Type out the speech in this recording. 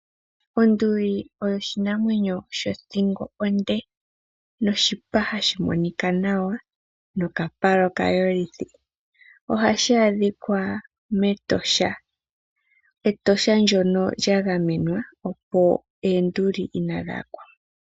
Onduli oyo oshinamwenyo shothingo onde noshipa hashi monika nawa, nokapala okayolithi. Ohashi adhika mEtosha, Etosha ndoka lyagamenwa opo eenduli ihadhi yakwamo.